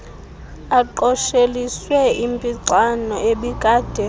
aqosheliswe impixano ebikade